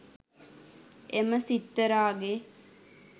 එම සිත්තරාගේ